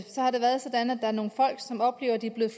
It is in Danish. har det været sådan at der er nogle folk som oplever at de er blevet